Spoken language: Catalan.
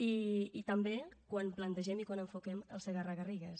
i també quan plantegem i quan enfoquem el segarra garrigues